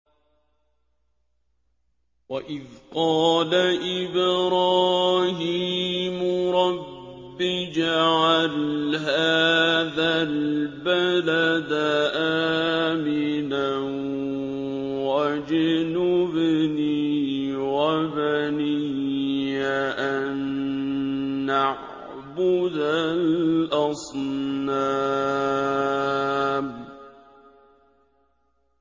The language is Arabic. وَإِذْ قَالَ إِبْرَاهِيمُ رَبِّ اجْعَلْ هَٰذَا الْبَلَدَ آمِنًا وَاجْنُبْنِي وَبَنِيَّ أَن نَّعْبُدَ الْأَصْنَامَ